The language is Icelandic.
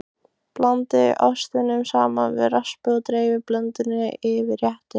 Blandið ostinum saman við raspið og dreifið blöndunni yfir réttinn.